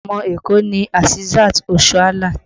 Ọmọ Èkó ni Asisat Oshoala